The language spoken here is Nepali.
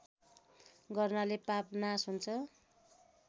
गर्नाले पाप नाश हुन्छ